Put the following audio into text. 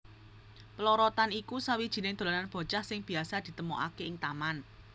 Plorotan iku sawijining dolanan bocah sing biasa ditemokaké ing taman